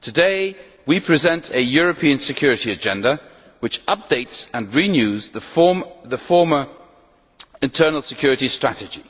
Today, we present a European security agenda which updates and renews the former internal security strategy,